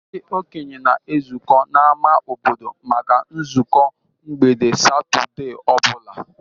Ndị okenye na-ezukọ n'ámá obodo maka nzukọ mgbede Satọde ọ bụla.